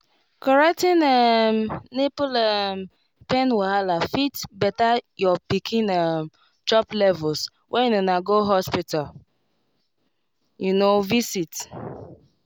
correcting um nipple um pain wahala fit better your pikin um chop levels when una go hospital you know visit